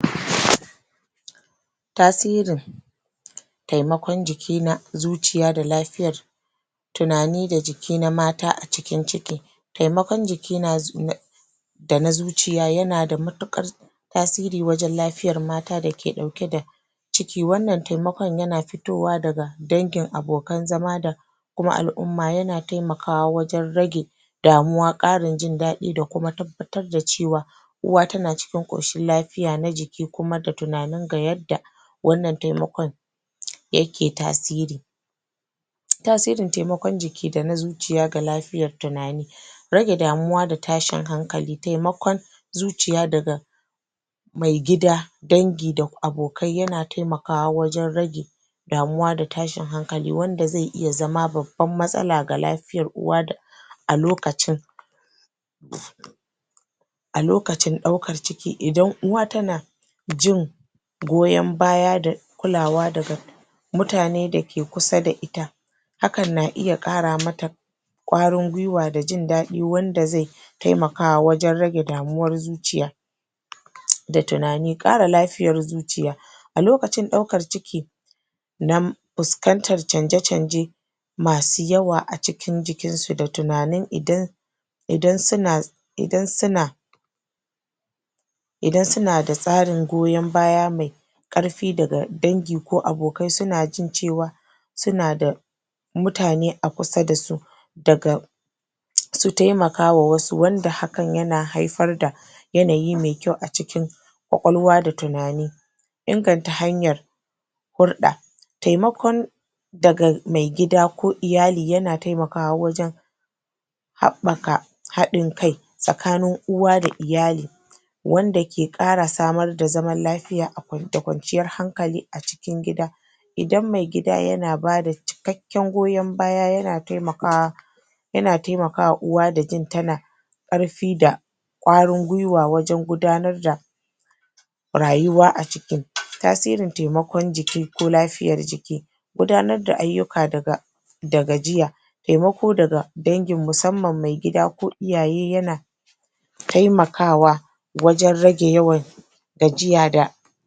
? Tasirin taimakon jiki na zuciya da lafiyar tunani da jiki na mata a cikin ciki taimakon jiki na da na zuciya yana da matuƙar tasiri wajen lafiyar mata da ke ɗauke da ciki. wannan taimakon na fitowa daga dangin abokan zama da kuma al'umma yana taimakawa wajen rage damuwa, ƙarin jin daɗi da tabbatar da cewa uwa tana cikin ƙoshin lafiya lafiya na jiki kuma da tunani ga yadda wannan taimakon yake tasiri tasirin taimakon jiki da na zuciya ga lafiyar tunani rage damuwa da tashin hankali taimakon zuciya daga Maigida dangi da abokai yana taimakawa wajen rage damuwa da tashin hankali wanda zai iya zama babban matsala ga lafiyar uwa a lokacin a lokacin ɗaukar ciki idan uwa tana jin goyan baya da kulawa daga mutane da ke kusa da ita hakan na iya qara mata ƙwarin gwiwa da jin daɗi wanda zai taimakawa wajen rage damuwar zuciya ta tunani ƙara lafiyar zuciya a lokacin ɗaukaar ciki fuskantar canje-canje masu yawa a cikin jikinsu da tunanin idan idan suna idan suna idan suna da tsarin goyon baya mai ƙarfi daga dangi ko abokai suna jin cewa suna da mutane a kusa da su daga su taimakawa wasu wanda hakan yana haifar da yanayi mai kyau a cikin ƙwaƙwalwa da tunani inganta hanyar hulɗa taimakon daga maigida ko iyali yana taimakawa wajen haɓaka haɗin kai tsakanin uwa da iyali wanda ke ƙara samar da zaman lafiya da kwanciyar hankali a cikin gida idan maigida yana bada cikakken goyon baya yana taimakawa yana taimaka wa uwa da jin tana ƙarfi da ƙwarin gwiwa wajen gudanar da rayuwa a cikin tasirin taiamakon jiki ko lafiyar jiki gudanar da ayyuka daga da gajiya taimako daga dangi musamman maigida ko iyaye yana taimakawa wajen rage yawan gajiya da